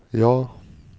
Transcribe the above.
ja